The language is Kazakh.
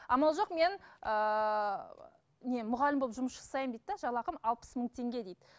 амал жоқ мен ііі не мұғалім болып жұмыс жасаймын дейді де жалақым алпыс мың теңге дейді